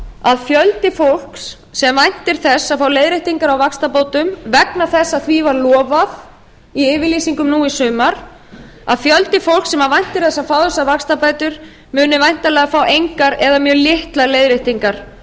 að fjöldi fólks sem væntir þess að fá leiðréttingar á vaxtabótum vegna þess að því var lofað í yfirlýsingum nú í sumar að fjöldi fólks sem væntir þess að fá þessar vaxtabætur muni væntanlega fá engar eða mjög litlar leiðréttingar á